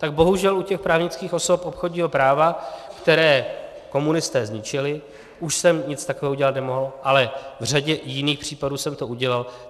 Tak bohužel u těch právnických osob obchodního práva, které komunisté zničili, už jsem nic takového udělat nemohl, ale v řadě jiných případů jsem to udělal.